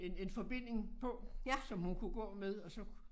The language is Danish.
En en forbinding på som hun kunne gå med og så